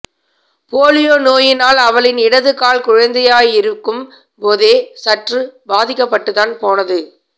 polio நோயினால் அவளின் இடதுகால் குழந்தையாயிருக்கும் போதே சற்று பாதிக்கப்பட்டுத்தான் போனது